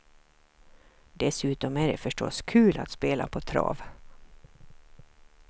Dessutom är det förstås kul att spela på trav.